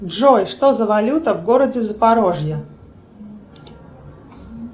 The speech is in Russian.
джой что за валюта в городе запорожье